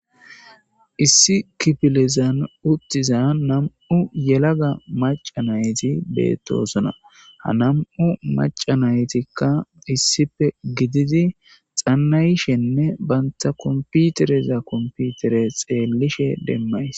Issi kipilezan uttiza nam7u yelaga maca nayti beettosona ha nam7u maca naytikka issife gididi xannayshenne baynta komputereza komputere xeellishe demmays.